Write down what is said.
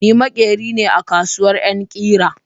Ni maƙeri ne a kasuwar yan ƙira